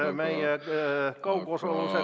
Jah, meie kaugosalusega istung ...